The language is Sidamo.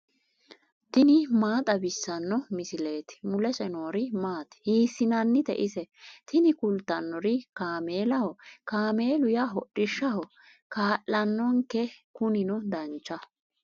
tini maa xawissanno misileeti ? mulese noori maati ? hiissinannite ise ? tini kultannori kaameelaho. kaameelu yaa hodhishshaho kaa'lannonke kunino dancha